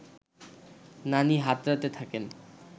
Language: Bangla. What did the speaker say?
নানি হাতড়াতে থাকেন